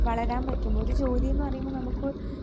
വളരാൻ പറ്റും. ഒരു ജോലീന്ന് പറയുമ്പോൾ നമുക്ക്